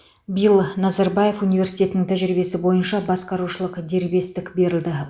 биыл назарбаев университетінің тәжірибесі бойынша басқарушылық дербестік берілді